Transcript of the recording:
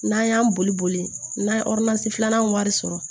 N'an y'an boli boli boli n ye ɔrɔrizi filanan wari sɔrɔ